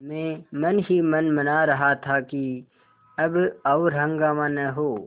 मैं मन ही मन मना रहा था कि अब और हंगामा न हो